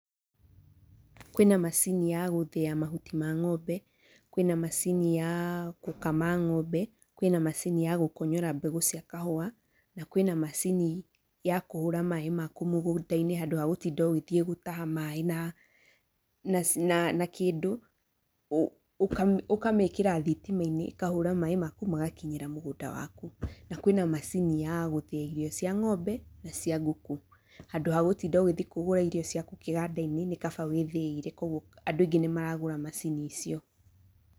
Kwĩna macini ya gũthĩa mahuti ma ngombe, kwĩna macini ya gũkama, kwĩna macini ya gũkonyora mbegũ cia kahũa, na kwĩna macini ya kũhũra maĩ maku mũgũndainĩ handũ ha gũtinda ũgĩthiĩ gũtaha maĩ na na na kĩndũ, ũka ũkamekĩra thitimainĩ, ĩkahũra maĩ maku magakinyĩra mũgũnda waku. Na kwĩna macini ya gũthĩa irio cia ngombe na cia nguku, handũ wa gũtinda ũgĩthiĩ kũgũra irio ciaku kĩgandainĩ, nĩkaba wĩthĩĩre koguo andũ aingĩ nĩmaragũra macini icio.